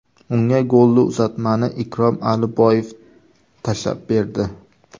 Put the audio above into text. Unga golli uzatmani Ikrom Aliboyev tashlab berdi.